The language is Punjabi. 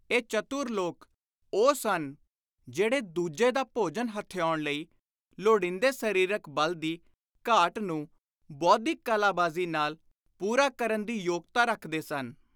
ਇਹ ਚਤੁਰ ਲੋਕ ਉਹ ਸਨ ਜਿਹੜੇ ਦੁਜੇ ਦਾ ਭੋਜਨ ਹਥਿਆਉਣ ਲਈ ਲੋੜੀਂਦੇ ਸਰੀਰਕ ਬਲ ਦੀ ਘਾਟ ਨੂੰ ਬੌਧਿਕ ਕਲਾਬਾਜ਼ੀ ਨਾਲ ਪੁਰਾ ਕਰਨ ਦੀ ਯੋਗਤਾ ਰੱਖਦੇ ਸਨ।